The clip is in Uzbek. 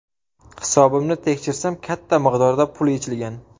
Hisobimni tekshirsam katta miqdorda pul yechilgan.